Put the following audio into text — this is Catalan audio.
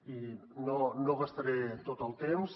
i no gastaré tot el temps